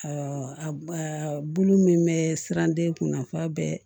bulu min bɛ siran den kunna f'a bɛ